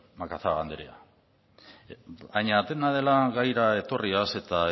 macazaga anderea baina dena dela gaira etorriz eta